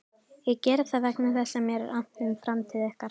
Ég geri það vegna þess að mér er annt um framtíð ykkar.